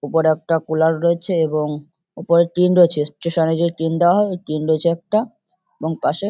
ওপরে একটা কুলার রয়েছে এবং ওপরে টিন রয়েছে স্টেশন -এ যে টিন দেওয়া হয় ওই টিন রয়েছে একটা এবং পাশে--